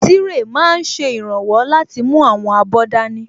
Tírè máa n ṣe ìrànwọ́ láti mú àwọn abọ́ dání